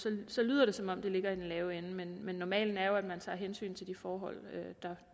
så lyder det som om det ligger i den lave ende men normalen er jo at man tager hensyn til de forhold